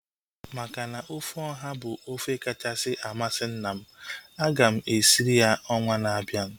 Maka na ofe ọha bụ ofe kachasị amasị nna m, aga m esirie ya ọnwa na-abịa